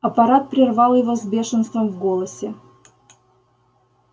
апорат прервал его с бешенством в голосе